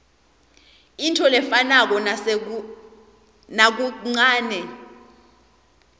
intfo lefanako nakancanei